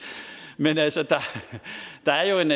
men der er jo en